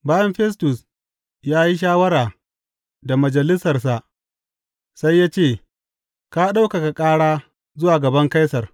Bayan Festus ya yi shawara da majalisarsa sai ya ce, Ka ɗaukaka ƙara zuwa gaban Kaisar.